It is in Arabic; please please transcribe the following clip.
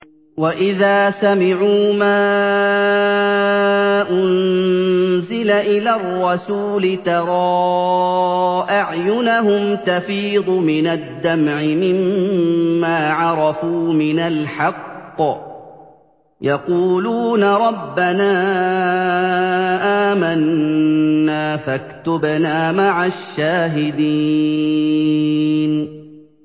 وَإِذَا سَمِعُوا مَا أُنزِلَ إِلَى الرَّسُولِ تَرَىٰ أَعْيُنَهُمْ تَفِيضُ مِنَ الدَّمْعِ مِمَّا عَرَفُوا مِنَ الْحَقِّ ۖ يَقُولُونَ رَبَّنَا آمَنَّا فَاكْتُبْنَا مَعَ الشَّاهِدِينَ